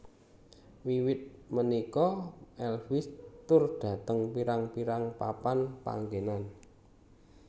Wiwit punika Elvis tur dhateng pirang pirang papan panggenan